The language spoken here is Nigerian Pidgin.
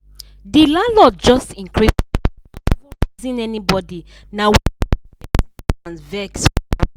the landlord just increase rent no even reason anybody na wetin make plenty ten ants vex well well.